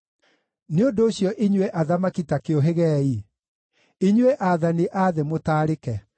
Nĩ ũndũ ũcio, inyuĩ athamaki ta kĩũhĩgeei, inyuĩ aathani a thĩ mũtaarĩke.